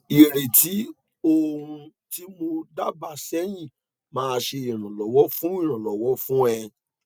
ireti o ohun ti mo daaba sehin ma se iranlowo fun iranlowo fun e